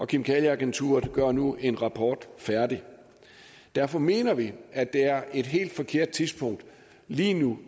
kemikalieagenturet gør nu en rapport færdig derfor mener vi at det er et helt forkert tidspunkt lige nu